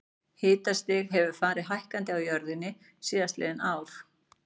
Hitastig hefur farið hækkandi á jörðinni síðastliðin ár.